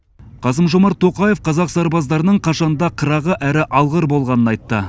қасым жомарт тоқаев қазақ сарбаздарының қашанда қырағы әрі алғыр болғанын айтты